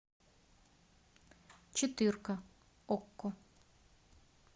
четырка окко